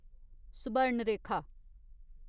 Subarnarekha